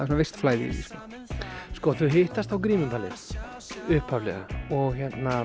svona visst flæði í því sko þau hittast á grímuballi upphaflega og